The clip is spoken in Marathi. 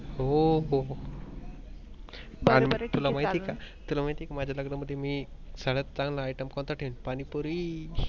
हो हो तुला माहित आहे का माझ्या लग्नाना मध्ये मी सगळ्या चांगल item कोनता ठेवीन, पाणी पुरी.